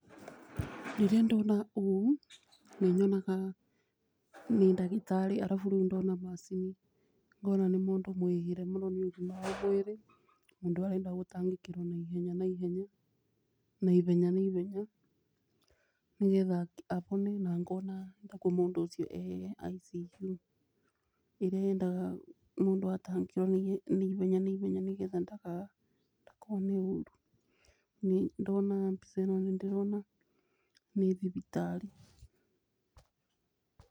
Rĩrĩa ndona ũũ nĩ nyonaga nĩ ndagĩtarĩ. arabu ndona macini ngona nĩ mũndũ mwĩhĩre mũno nĩ ũgima wa mwĩrĩ, mũndũ arenda gũtangĩkĩrwo na ihenya na ihenya nĩ getha ahone na ngona ta kwĩ mũndũ ũcio ta e ICU ĩrĩa yendaga mũndũ atangĩkĩrũo na ihenya na ihenya na ndakone ũru. Ndona mbica ĩno nĩ ndĩrona nĩ thibitarĩ.